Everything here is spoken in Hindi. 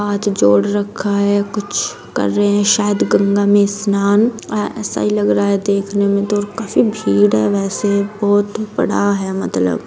हाथ जोड़ रखा है कुछ कर रहे शायद गंगा में स्नान आ ऐसा ही लग रहा है देखने में तो काफी भीड़ है वैसे बहोत बड़ा है मतलब।